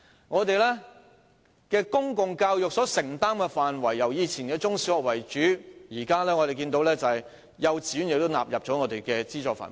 我們的公共教育承擔的範圍由以前以中、小學為主，到現在變為幼稚園亦納入資助範圍。